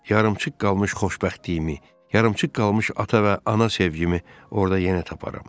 yarımçıq qalmış xoşbəxtliyimi, yarımçıq qalmış ata və ana sevgimi orda yenə taparam.